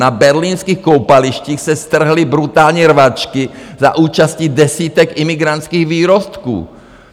Na berlínských koupalištích se strhly brutální rvačky za účasti desítek imigrantských výrostků.